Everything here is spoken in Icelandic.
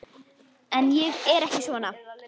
En ég er ekki svona.